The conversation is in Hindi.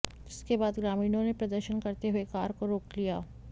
जिसके बाद ग्रामीणों ने प्रदर्शन करते हुए कार को रोक लिया